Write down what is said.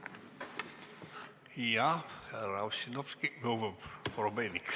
Härra Korobeinik, palun!